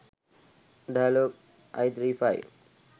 dialog i35